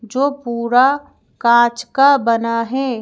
जो पूरा कांच का बना है।